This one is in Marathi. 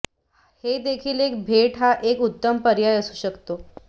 हे देखील एक भेट हा एक उत्तम पर्याय असू शकते